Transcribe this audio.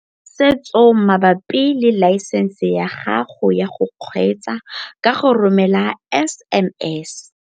Tshedimosetso mabapi le laesense ya gago ya go kgweetsa ka go romela SMS.